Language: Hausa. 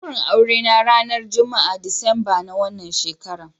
Daurin aure na ranar Juma'a Disamba na wannan shekara